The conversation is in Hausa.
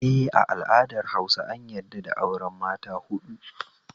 Eh, a al'adar Hausa an yadda da auren mata huɗu